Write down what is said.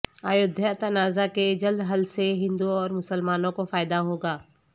ایودھیا تنازعہ کے جلد حل سے ہندو اور مسلمانوں کو فائدہ ہوگا